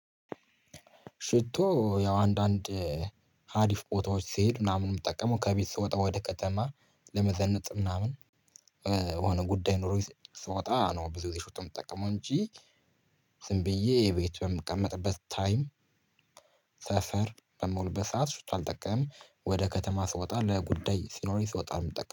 ሽቶ ያው አንዳንድ ሀዲፍ ቦታዎች ስሄድ ምናምን የምጠቀመው ከቤት ስወጣ ወደ ከተማ ለመዘነጥ ምናምን የሆነ ጉዳይ ኖሮኝ ስወጣ ነው። ብዙ ጊዜ ሽቶ የምጠቀመው እንጂ ዝም ብዬ ቤት በምቀመጥበት ታይም ሰፈር በምውልበት ሰዓት ሽቶ አልጠቀምም። ወደ ከተማ ስወጣ ለጉዳይ ሲኖረኝ ስወጣ ነው የምጠቀመው